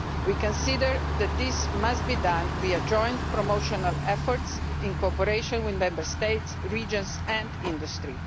We consider that it must be done via joint promotional efforts in cooperation with Member States, regions and the industry.